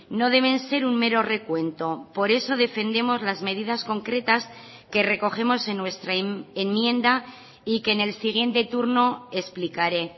no deben ser un mero recuento por eso defendemos las medidas concretas que recogemos en nuestra enmienda y que en el siguiente turno explicaré